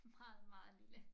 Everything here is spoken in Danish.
Meget meget lille